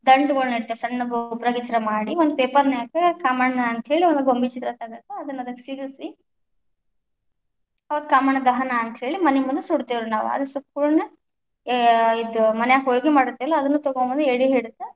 ದಂಟುಗಳನ್ನು ಇಡ್ತೀವಿ ಸಣ್ಣುವ ಒಂದು ಪೇಪರ್ ನ್ಯಾಗ ಕಾಮಣ್ಣ ಅಂತ ಹೇಳಿ ಒಂದು ಗೊಂಬಿ ಚಿತ್ರ ತೆಗೆದು ಅದನ್ನ ಅದಕ್ಕ ಸಿಗಿಸಿ, ಅವಾಗ ಕಾಮಣ್ಣ ದಹನ ಅಂತ ಹೇಳಿ ಮನೆ ಮುಂದ ಸುಡುತ್ತೇವರಿ ನಾವ್‌, ಅದ್ ಸುಟ್ಟ ಕುಳ್ಳೇನ ಎ ಇದ್ ಮನ್ಯಾಗ ಹೋಳಗಿ ಮಾಡಿರ್ತೀವಲ್ಲ ಅದನ್ನು ತಗೊಂಬಂದ್ ಯಡಿಹಿಡಿದು.